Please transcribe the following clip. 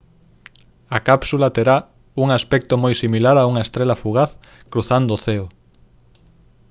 a cápsula terá un aspecto moi similar a unha estrela fugaz cruzando o ceo